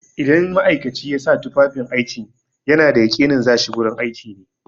Idan ma'aikaci ya sa tufafin aiki ana da yaƙinin za shi gurin aiki ne.